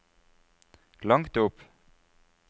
langt opp